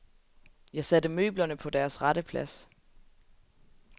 Jeg satte møblerne på deres rette plads.